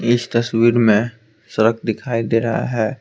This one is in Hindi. इस तस्वीर में सड़क दिखाई दे रहा है।